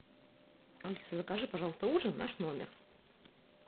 алиса закажи пожалуйста ужин в наш номер